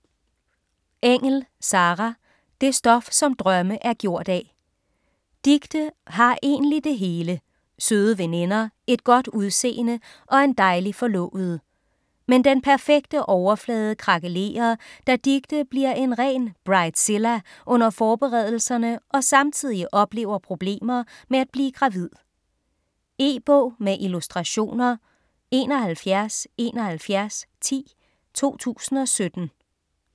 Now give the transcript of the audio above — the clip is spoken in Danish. Engell, Sarah: Det stof som drømme er gjort af Dicte har egentlig det hele; søde veninder, et godt udseende og en dejlig forlovede. Men den perfekte overflade krakelerer, da Dicte bliver en ren bridezilla under bryllupsforberedelserne og samtidig oplever problemer med at blive gravid. E-bog med illustrationer 717110 2017.